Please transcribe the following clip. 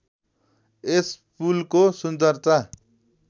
यस पुलको सुन्दरता